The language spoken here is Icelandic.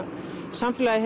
samfélagið